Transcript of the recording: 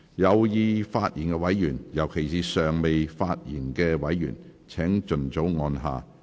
有意發言的委員，尤其是尚未發言的委員，請盡早按下"要求發言"按鈕。